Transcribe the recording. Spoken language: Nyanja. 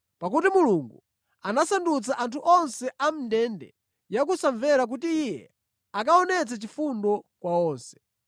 Pakuti Mulungu anasandutsa anthu onse a mʼndende ya kusamvera kuti Iye akaonetse chifundo kwa onse.